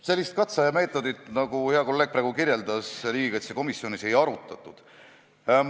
Sellist katseaja meetodit, nagu hea kolleeg praegu kirjeldas, riigikaitsekomisjonis ei arutatud.